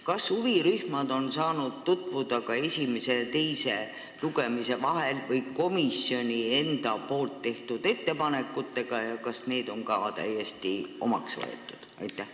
Kas huvirühmad on saanud tutvuda esimese ja teise lugemise vahel komisjoni enda tehtud ettepanekutega ja need ka täiesti omaks võtnud?